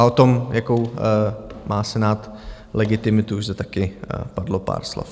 A o tom, jakou má Senát legitimitu, už zde taky padlo pár slov.